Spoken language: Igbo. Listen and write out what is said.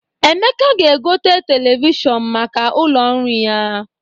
Emeka ga-egote televishọn maka ụlọ nri ya.